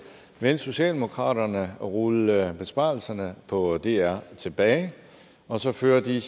vil socialdemokratiet rulle besparelserne på dr tilbage og så føre de